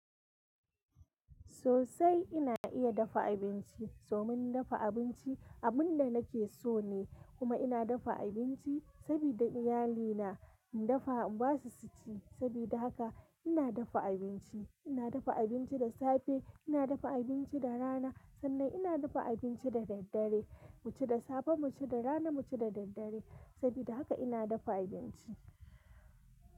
Sosai ina iya dafa abinci. Domin dafa abinci abun da nake so ne. Kuma ina dafa abinci sabida iyalina in dafa basu su ci. Sabida haka ina dafa abinci. Ina dafa abinci da safe, ina dafa abinci da rana, sannan ina dafa abinci da daddare. Mu ci da safe, mu ci da rana, mu ci da daddare. Sabida haka ina dafa abinci.